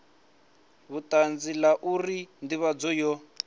vhutanzi la uri ndivhadzo yo